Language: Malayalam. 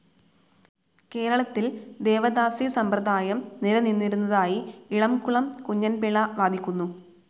കേരളത്തിൽ ദേവദാസീസമ്പ്രദായം നിലനിന്നിരുന്നതായി ഇളംകുളം കുഞ്ഞൻപിള്ള വാദിക്കുന്നു.